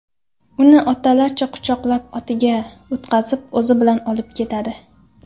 Uni otalarcha quchoqlab, otiga o‘tkazib o‘zi bilan olib ketadi.